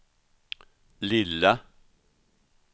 lilla